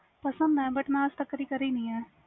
ਕਸਮ ਆ ਮੈਂ ਅਜੇ ਤਕ ਕਰਿ ਨਹੀਂ ਆ